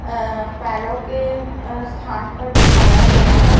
अ पैरों के स्थान पर बिछाया गया है।